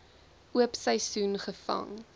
oop seisoen gevang